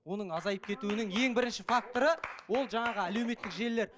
оның азайып кетуінің ең бірінші факторы ол жаңағы әлеуметтік желілер